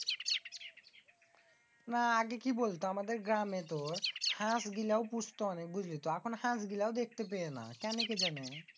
না আগে কি বলত তো আমাদের গ্রামেতো হাঁস গিলাও পৌষত অনেক। এখন হাঁস গুলাও দেখতে পেয়েনা। কেনে কে জানে?